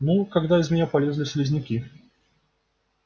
ну когда из меня полезли слизняки